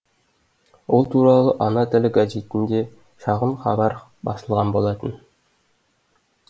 ол туралы ана тілі газетінде шағын хабар басылған болатын